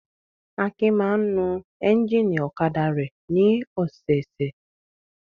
Akin máa ń nu ẹ́ńjínì ọ̀kadà rẹ̀ ní ọ̀sẹ̀ẹ̀sẹ̀.